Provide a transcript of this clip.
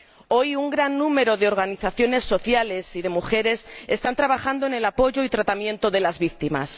Hoy un gran número de organizaciones sociales y de mujeres están trabajando en el apoyo y tratamiento de las víctimas.